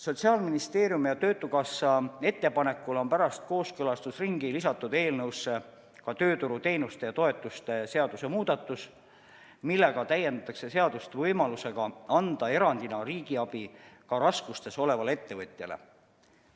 Sotsiaalministeeriumi ja töötukassa ettepanekul on pärast kooskõlastusringi lisatud eelnõusse ka tööturuteenuste ja -toetuste seaduse muudatus, millega täiendatakse seadust võimalusega anda erandina riigiabi ka raskustes olevale ettevõtjale.